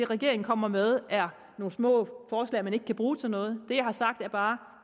regeringen kommer med er nogle små forslag man ikke kan bruge til noget det jeg har sagt er bare